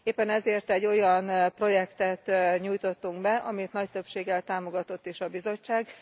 Éppen ezért egy olyan projektet nyújtottunk be, amit nagy többséggel támogatott is a Bizottság.